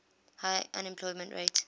high unemployment rate